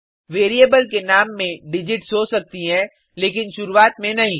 variable के नाम में डिजिट्स हो सकती हैं लेकिन शुरुआत में नहीं